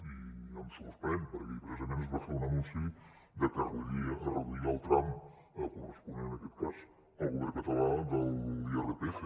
i em sorprèn perquè ahir precisament es va fer un anunci de que reduiria el tram corresponent en aquest cas el govern català de l’irpf